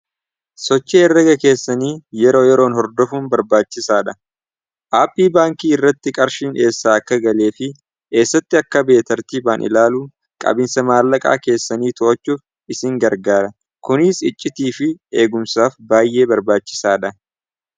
sochi erraga keessanii yeroo yeroon hordofuun barbaachisaa dha aapii baankii irratti qarshiin eessaa akka galee fi eessatti akka beetartiibaan ilaaluu qabiinsa maallaqaa keessanii to'achuuf isin gargaara kuniis iccitii fi eegumsaaf baay'ee barbaachisaa dha